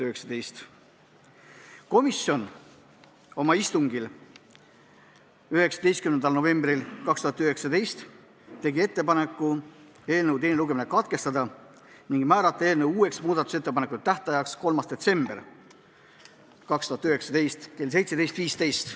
Komisjon tegi oma 19. novembri istungil ettepaneku eelnõu teine lugemine katkestada ning määrata eelnõu uueks muudatusettepanekute tähtajaks 3. detsember kell 17.15.